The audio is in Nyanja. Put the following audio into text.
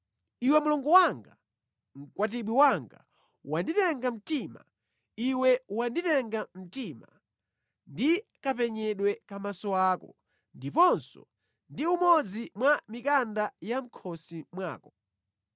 Iwe mlongo wanga, mkwatibwi wanga, wanditenga mtima, iwe wanditenga mtima ndi kapenyedwe ka maso ako, ndiponso ndi umodzi mwa mikanda ya mʼkhosi mwako.